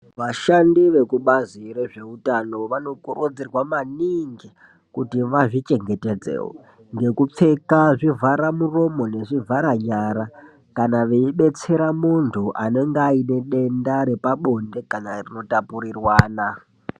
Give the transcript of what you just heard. Vashandi vekubazi rezveutano vanokurudzirwa maningi kuti vazvichengetedzewo ngekupfeka zvivhara muromo nezvivhara nyara kana veidetsera muntu anenge aine denda repabonde kana rinotapurirwana.